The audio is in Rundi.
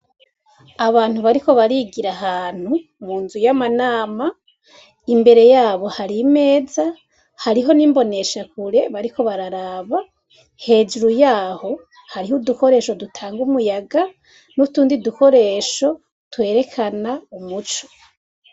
Abantu bariko barigiramwo ahantu munzu yama ama imbere yabo hari imeza, hariho nimboneshakure bariko bararaba, hejuru yabo hariho udukoresho dutanga umuyaga nutundi dukiresho dutanga umuco.